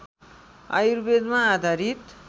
आयुर्वेदमा आधारित